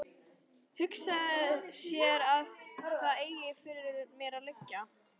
Hugsa sér að það eigi fyrir mér að liggja.